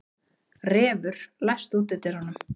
Refur, læstu útidyrunum.